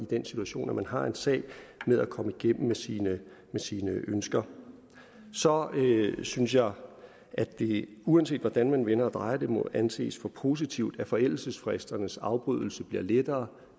den situation når man har en sag med at komme igennem med sine sine ønsker så synes jeg at det uanset hvordan man vender og drejer det må anses for positivt at forældelsesfristernes afbrydelse bliver lettere